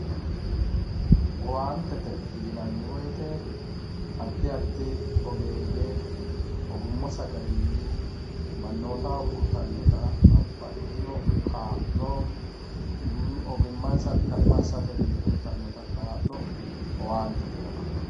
Owaantete yineemo woyite adi adi oggeyye ogumansa garinni manotaho uyitanotta babaxitino kaallo, ogimansa kaima asate uyitanotta kaalo owaantete yinanni